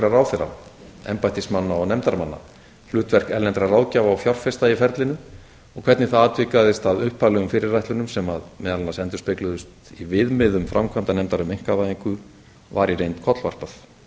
ráðherra embættismanna og nefndarmanna hlutverk erlendra ráðgjafa og fjárfesta í ferlinu og hvernig það atvikaðist að upphaflegum fyrirætlunum sem meðal annars endurspegluðust í viðmiðum framkvæmdanefndar um einkavæðingu var í reynd kollvarpað í öðru lagi má